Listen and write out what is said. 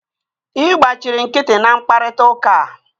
Ị gbachiri nkịtị na mkparịta ụka a